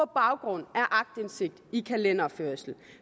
baggrund af aktindsigt i kalenderføring